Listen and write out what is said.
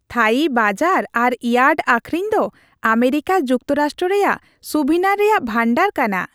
ᱛᱷᱟᱹᱭᱤ ᱵᱟᱡᱟᱨ ᱟᱨ ᱤᱭᱟᱨᱰ ᱟᱹᱠᱷᱨᱤᱧ ᱫᱚ ᱟᱢᱮᱨᱤᱠᱟ ᱡᱩᱠᱛᱚᱨᱟᱥᱴᱨᱚ ᱨᱮᱭᱟᱜ ᱥᱩᱵᱷᱤᱱᱟᱨ ᱨᱮᱭᱟᱜ ᱵᱷᱟᱱᱰᱟᱨ ᱠᱟᱱᱟ ᱾